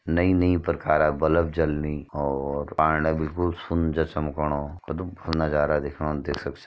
नई नई प्रकारा बल्ब जलनि और पाणी ले बिल्कुल सुन जैस समकोणु कति भलु नजारा दिखेणु देख सक --